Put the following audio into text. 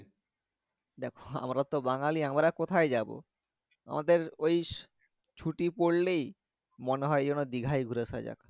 দেখো আমরা তো বাঙালি আমরা কোথায় যাবো আমাদের ঐ ছুটি পড়লেই মনে হয় যেন দীঘায় ঘুরে আসা যাক